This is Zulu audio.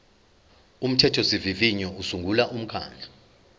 umthethosivivinyo usungula umkhandlu